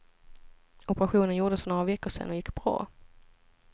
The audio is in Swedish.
Operationen gjordes för några veckor sedan och gick bra.